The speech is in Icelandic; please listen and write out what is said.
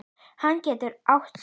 Hann getur átt sig.